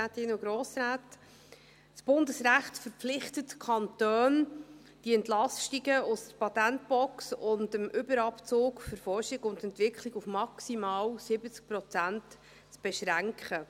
Das Bundesrecht verpflichtet die Kantone, die Entlastungen aus der Patentbox und dem Überabzug für Forschung und Entwicklung auf maximal 70 Prozent zu beschränken.